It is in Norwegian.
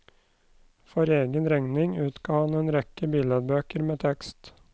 For egen regning utga han en rekke billedbøker med tekst.